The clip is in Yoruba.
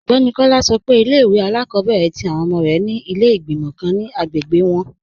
Ọgbẹni Kọla sọ́ pé ilẹ̀-ìwé alákọ̀bẹ̀rẹ̀ tí awọn ọmọ rẹ ni ilẹ̀ igbimọ̀ kàn ni agbègbè wọn.